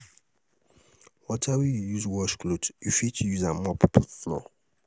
water wey yu use wash cloth yu fit use am take mop floor